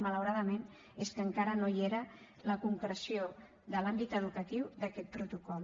malauradament és que encara no hi era la concreció de l’àmbit educatiu d’aquest protocol